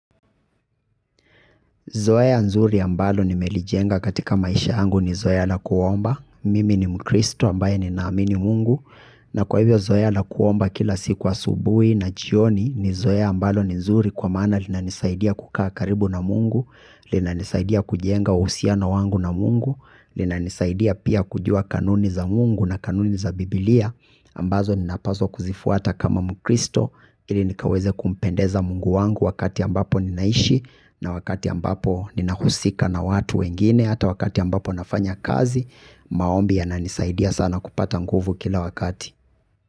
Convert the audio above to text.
Zoea nzuri ambalo nimelijenga katika maisha yangu ni zoea la kuomba, mimi ni mkristo ambaye ninaamini Mungu, na kwa hivyo zoea la kuomba kila siku wa asubuhi na jioni ni zoea ambalo ni nzuri kwa maana linanisaidia kukaa karibu na Mungu, linanisaidia kujenga uhusiano wangu na Mungu, linanisaidia pia kujua kanuni za Mungu na kanuni za biblia, ambazo ninapaswa kuzifuata kama mkristo, ili nikaweze kumpendeza Mungu wangu wakati ambapo ninaishi. Na wakati ambapo ninahusika na watu wengine. Hata wakati ambapo nafanya kazi. Maombi yananisaidia sana kupata nguvu kila wakati.